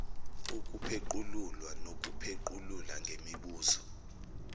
ukupheqululwa nokuphequlula ngemibuzo